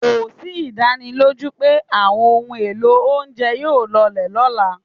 Kò sí ìdánilójú pé àwọn ohun èlò oúnjẹ yóò lọlẹ̀ lọ́la.